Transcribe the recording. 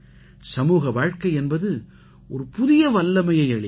சமூக வாழ்க்கை என்பது ஒரு புதிய வல்லமையை அளிக்கிறது